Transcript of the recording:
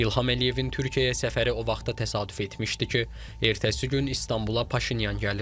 İlham Əliyevin Türkiyəyə səfəri o vaxta təsadüf etmişdi ki, ertəsi gün İstanbula Paşinyan gəlirdi.